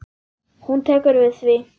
Hún tekur við því.